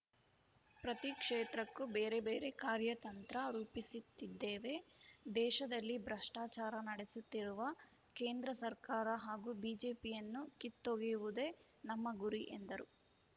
ಪ್ರತಿ ಕ್ಷೇತ್ರಕ್ಕೂ ಬೇರೆ ಬೇರೆ ಕಾರ್ಯತಂತ್ರ ರೂಪಿಸುತ್ತಿದ್ದೇವೆ ದೇಶದಲ್ಲಿ ಭ್ರಷ್ಟಾಚಾರ ನಡೆಸುತ್ತಿರುವ ಕೇಂದ್ರ ಸರ್ಕಾರ ಹಾಗೂ ಬಿಜೆಪಿಯನ್ನು ಕಿತ್ತೊಗೆಯುವುದೇ ನಮ್ಮ ಗುರಿ ಎಂದರು